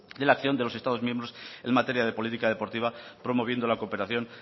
de la acción de los estados miembros en materia de política deportiva promoviendo la cooperación